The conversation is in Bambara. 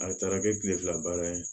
A taara kɛ kile fila baara ye